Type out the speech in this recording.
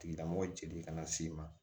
Tigilamɔgɔ jeli kana s'i ma